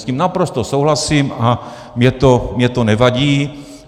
S tím naprosto souhlasím a mně to nevadí.